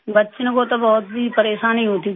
बच्चों को तो बहुत ही परेशानी होती थी